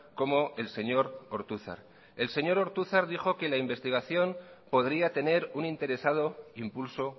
como el señor ortuzar el señor ortuzar dijo que la investigación podría tener un interesado impulso